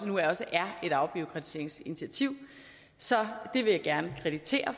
nu også er et afbureaukratiseringsinitiativ så det vil jeg gerne kreditere